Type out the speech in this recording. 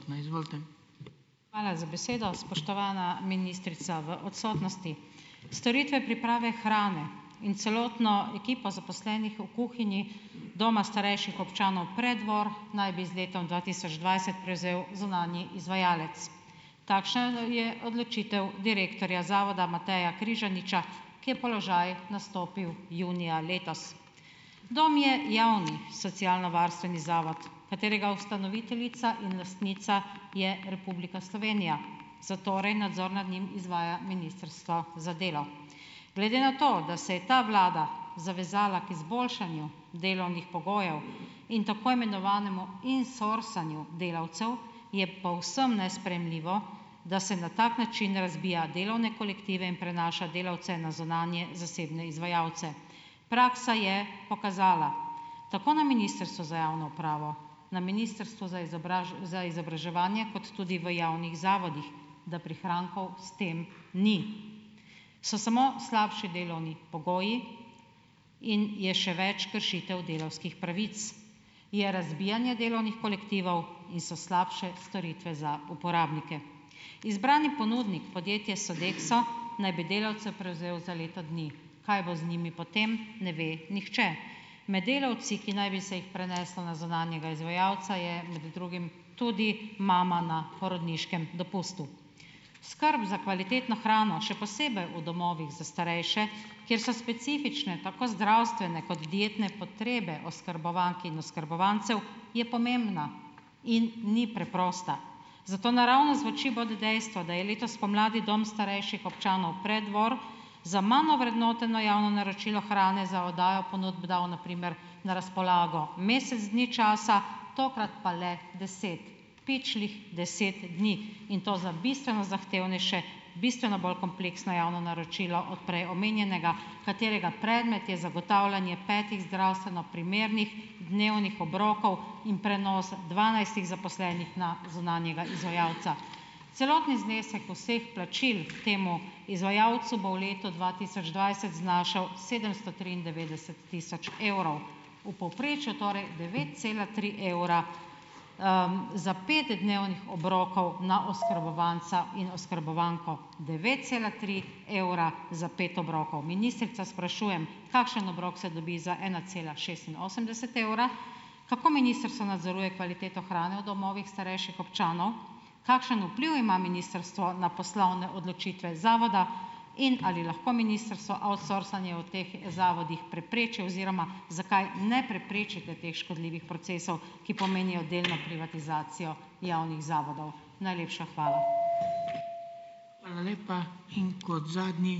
Hvala za besedo, spoštovana ministrica v odsotnosti. Storitve priprave hrane in celotno ekipo zaposlenih v kuhinji doma starejših občanov Preddvor naj bi z letom dva tisoč dvajset prevzel zunanji izvajalec. Takšna, je odločitev direktorja zavoda Mateja Križaniča, ki je položaj nastopil junija letos. Dom je javni socialnovarstveni zavod, katerega ustanoviteljica in lastnica je Republika Slovenija, zatorej nadzor nad njim izvaja Ministrstvo za delo. Glede na to, da se je ta vlada zavezala k izboljšanju delovnih pogojev in tako imenovanemu "insourcanju" delavcev, je povsem nesprejemljivo, da se na tak način razbija delovne kolektive in prenaša delavce na zunanje - zasebne - izvajalce. Praksa je pokazala, tako na Ministrstvu za javno upravo, na Ministrstvu za za izobraževanje, kot tudi v javnih zavodih, da prihrankov s tem ni. So samo slabši delovni pogoji in je še več kršitev delavskih pravic. Je razbijanje delovnih kolektivov in so slabše storitve za uporabnike. Izbrani ponudnik, podjetje Sodexo, naj bi delavce prevzel za leto dni. Kaj bo z njimi potem, ne ve nihče. Med delavci, ki naj bi se jih preneslo na zunanjega izvajalca, je med drugih tudi mama na porodniškem dopustu. Skrb za kvalitetno hrano, še posebej v domovih za starejše, kjer so specifične tako zdravstvene kot dietne potrebe oskrbovank in oskrbovancev, je pomembna in ni preprosta. Zato naravnost v oči bode dejstvo, da je letos spomladi dom starejših občanov Preddvor za manj ovrednoteno javno naročilo hrane za oddajo ponudb dal na primer na razpolago mesec dni časa, tokrat pa le deset. Pičlih deset dni. In to za bistveno zahtevnejše, bistveno bolj kompleksno javno naročilo od prej omenjenega, katerega predmet je zagotavljanje petih zdravstveno primernih dnevnih obrokov in prenos dvanajstih zaposlenih na zunanjega izvajalca. Celotni znesek vseh plačil temu izvajalcu bo v letu dva tisoč dvajset znašal sedemsto triindevetdeset tisoč evrov. V povprečju torej devet cela tri evra, za pet dnevnih obrokov na oskrbovalca in oskrbovanko. Devet cela tri evra za pet obrokov. Ministrico sprašujem, kakšen obrok se dobi za ena cela šestinosemdeset evra. Kako ministrstvo nadzoruje kvaliteto hrane v domovih starejših občanov? Kakšen vpliv ima ministrstvo na poslovne odločitve zavoda in ali lahko ministrstvo outsourcanje v teh zavodih prepreči oziroma zakaj ne preprečite teh škodljivih procesov, ki pomenijo delno privatizacijo javnih zavodov. Najlepša hvala.